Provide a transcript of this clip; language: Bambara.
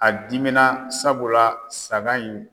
A dimi na sabula saga in